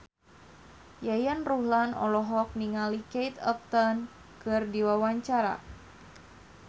Yayan Ruhlan olohok ningali Kate Upton keur diwawancara